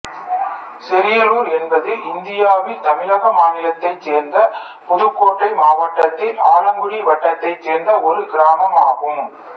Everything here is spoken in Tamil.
செரியலூர் என்பது இந்தியாவில் தமிழக மாநிலத்தைச் சேர்ந்த புதுக்கோட்டை மாவட்டத்தில் ஆலங்குடி வட்டத்தைச் சேர்ந்த ஒரு கிராமம் ஆகும்